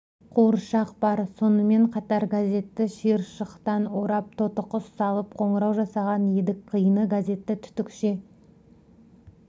қуыршақ бар сонымен қатар газетті шиыршықтан орап тотықұс алып қоңырау жасаған едік қиыны газетті түтікше